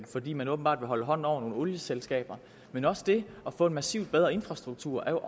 fordi man åbenbart vil holde hånden over nogle olieselskaber men også det at få en massivt bedre infrastruktur er